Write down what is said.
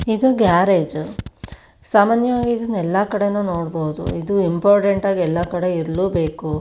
ಇದು ಗ್ಯಾರೇಜ್ ಸಾಮಾನ್ಯವಾಗಿ ಇದನ್ನ ಎಲ್ಲಾ ಕಡೆ ನೋಡಬಹುದು ಇದು ಇಂಪಾರ್ಟೆಂಟ್ ಆಗಿ ಎಲ್ಲಾ ಕಡೆ ಇರ್ಲುಬೇಕು.